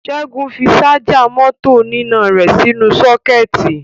Ṣẹ́gun fi ṣájà mọ́tò oníná rẹ̀ sínú sọ́kẹ́ẹ̀tì.